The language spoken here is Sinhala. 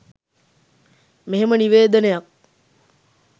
මෙහෙම නිවේදනයක්